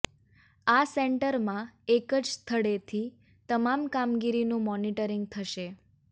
આ સેન્ટરમાં એક જ સ્થળેથી તમામ કામગીરીનું મોનિટરિંગ થશે